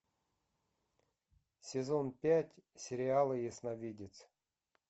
сезон пять сериала ясновидец